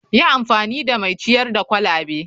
Yi amfani da mai ciyar da kwalabe.